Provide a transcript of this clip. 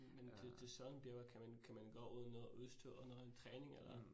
Men til til sådanne bjerge, kan man kan man gå uden noget udstyr og noget træning eller